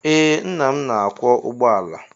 Ee nna m na-akwọ ụgbọala.